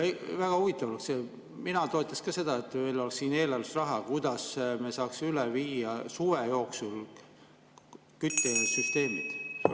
Väga huvitav oleks, mina toetaks ka seda, et kui oleks siin eelarves raha, kuidas me saaksime suve jooksul küttesüsteemid üle viia.